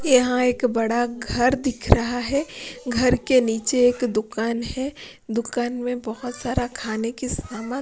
यहां एक बड़ा घर दिख रहा है घर के नीचे एक दुकान है दुकान में बहोत सारा खाने की समान--